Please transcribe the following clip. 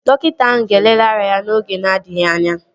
Dọkịta ahụ ga-elele ara ya n'oge na-adịghị anya